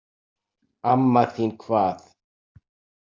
Amma þín hvað?